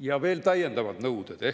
ja veel täiendavad nõuded.